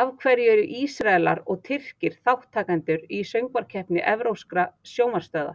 Af hverju eru Ísraelar og Tyrkir þátttakendur í Söngvakeppni evrópskra sjónvarpsstöðva?